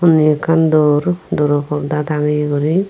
nahi ekan dore doro porda tagaay gori.